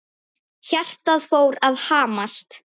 Hjartað fór að hamast.